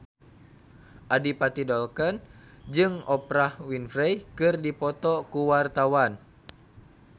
Adipati Dolken jeung Oprah Winfrey keur dipoto ku wartawan